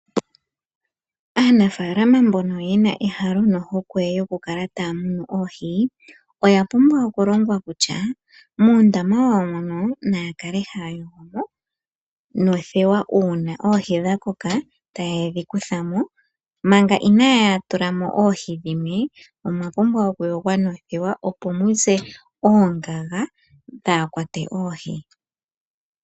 Aanafaalama mbono yena ehalo nohokwe yokukala taa munu oohi, oya pumbwa okulongwa kutya muundama wawo mono naa kale haya yogo mo nothewa uuna oohi dha koka taye dhi kutha mo, manga inaaya tula mo oohi dhimwe omwa pumbwa okuyogwa nothewa opo mu ze oongaga dhaa kwate oohi.